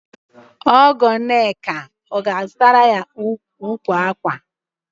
Ọgọ Nneka ọ ga-azụtara ya ukwu ákwà?